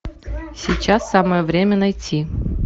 сейчас самое время найти